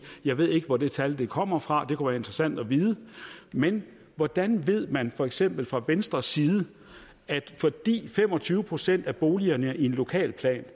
jeg ved ikke hvor det tal kommer fra det kunne være interessant at vide men hvordan ved man for eksempel fra venstres side at fordi fem og tyve procent af boligerne i en lokalplan